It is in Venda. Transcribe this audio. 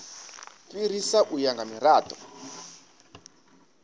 fhirisa u ya nga mirado